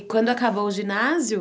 E quando acabou o ginásio,